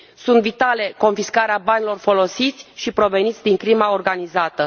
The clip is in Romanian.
Este vitală confiscarea banilor folosiți, proveniți din crima organizată.